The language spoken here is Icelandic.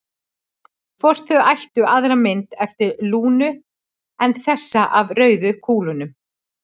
Hvort þau ættu aðra mynd eftir Lúnu en þessa af rauðu kúlunum?